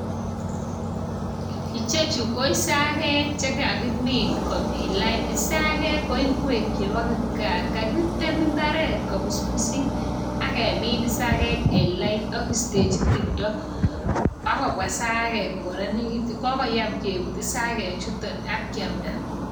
Ichechu ko isagek chekakimin komin lain. Isagek ko ingwek chebo kipkaa. Kakitem imbaret kobusbusit ak kemin isagek eng' lain ak keistechi timto, akobwa isagek kokoranitu. Kokoyam keput isagechutok akiamta.